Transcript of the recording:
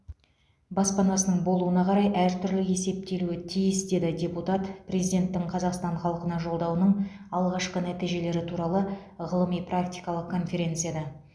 баспанасының болуына қарай әртүрлі есептелуі тиіс деді депутат президенттің қазақстан халқына жолдауының алғашқы нәтижелері туралы ғылыми практикалық конференцияда